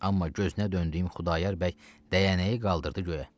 Amma gözünə döndüyüm Xudayar bəy dəyənəyi qaldırdı göyə.